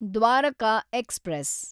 Dwarka express